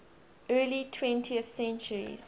early twentieth centuries